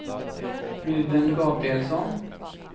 Ruben Gabrielsson